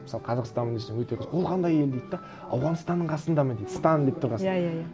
мысалы қазақстаннанмын десем ол қандай ел дейді де ауғанстанның қасында ма дейді стан деп тұрған соң иә иә иә